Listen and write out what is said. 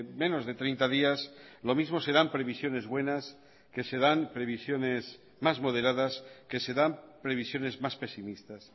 menos de treinta días lo mismo se dan previsiones buenas que se dan previsiones más moderadas que se dan previsiones más pesimistas